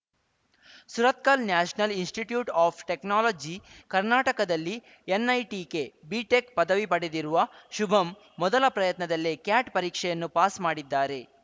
Surathkal national institute of technology ಕರ್ನಾಟಕದಲ್ಲಿ NITK BTech ಪದವಿ ಪಡೆದಿರುವ ಶುಭಂ ಮೊದಲ ಪ್ರಯತ್ನದಲ್ಲೇ ಕ್ಯಾಟ್‌ ಪರೀಕ್ಷೆಯನ್ನು ಪಾಸ್‌ ಮಾಡಿದ್ದಾರೆ